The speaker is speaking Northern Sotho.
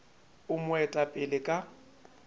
e mo eta pele ka